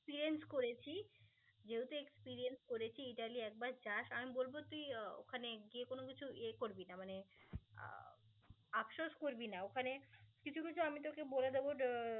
experiance করেছি যেহেতু experience করেছি ইতালি একবার যাস আমি বলব তুই ওখানে গিয়ে কোনো কিছু ইয়ে করবি না মানে আহ আফসোস করবিনা. ওখানে কিছু কিছু আমি তোকে বলে দেব ড~